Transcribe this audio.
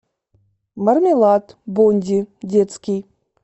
мармелад бонди детский